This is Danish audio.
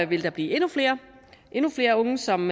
vil blive endnu flere endnu flere unge som